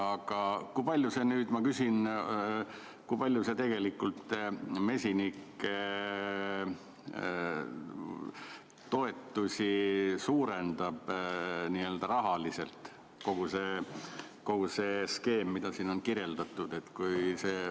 Aga kui palju kogu see skeem, mida siin on kirjeldatud, tegelikult mesinike toetusi suurendab rahaliselt?